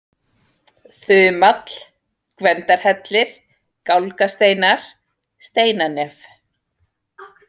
Þumall, Gvendarhellir, Gálgasteinar, Steinanef